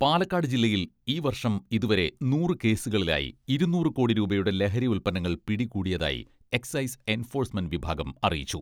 പാലക്കാട് ജില്ലയിൽ ഈ വർഷം ഇതുവരെ നൂറു കേസുകളിലായി ഇരുന്നൂറ് കോടി രൂപയുടെ ലഹരി ഉൽപന്നങ്ങൾ പിടികൂടിയതായി എക്സൈസ് എൻഫോഴ്സ്മെന്റ് വിഭാഗം അറിയിച്ചു.